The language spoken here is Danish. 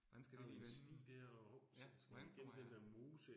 Hvordan skal det lige vende. Ja, hvordan kommer jeg